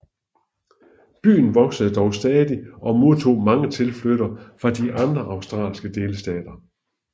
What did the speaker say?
Byen voksede dog stadig og modtog mange tilflyttere fra de andre australske delstater